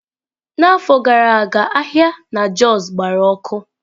N'afọ gara aga ahịa na Jos gbara ọkụ.